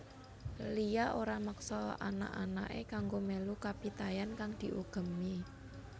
Lia ora meksa anak anaké kanggo mélu kapitayan kang diugemi